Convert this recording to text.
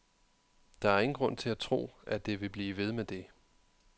Det er der ingen grund til at tro, at det vil blive ved med det.